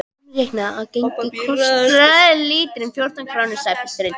Umreiknað á gengi kostar lítrinn fjórtán krónur, sagði pilturinn.